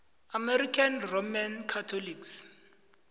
american roman catholics